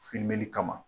kama